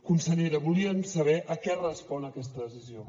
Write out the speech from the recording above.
consellera volíem saber a què respon aquesta decisió